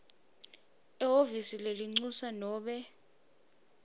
ehhovisi lelincusa nobe